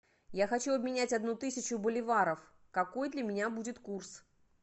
я хочу обменять одну тысячу боливаров какой для меня будет курс